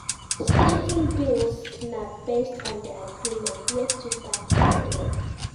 Splitting bills na based on di agreement wey two parties get